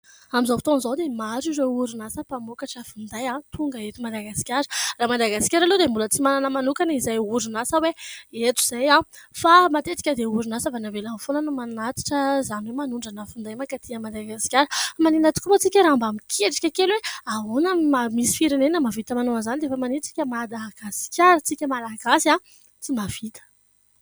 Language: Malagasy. Amin'izao fotoan'izao dia maro ireo orinasa mpamokatra finday, tonga eto Madagasikara. Raha Madagasikara aloha dia mbola tsy manana manokana izay orinasa hoe eto izay. Fa matetika dia orinasa avy any ivelany foana no manatitra; izany hoe : manondrana finday mankaty Madagasikara. Fa maninona tokoa moa isika raha mba miketrika kely hoe : ahoana no maha misy firenena mavita manao an'izany dia efa maninona isika Madagasikara , isika Malagasy no tsy mahavita.